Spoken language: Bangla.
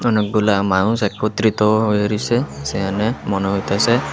অনেকগুলা মানুষ একত্রিত হয়ে রইসে সেহানে মনে হইতাসে।